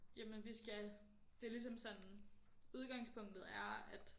Jamen vi skal det er ligesom sådan udgangspunktet er at